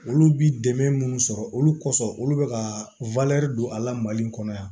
Olu bi dɛmɛ minnu sɔrɔ olu kɔsɔn olu be ka don a la mali kɔnɔ yan